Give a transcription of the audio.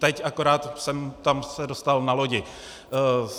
Teď akorát jsem se tam dostal na lodi.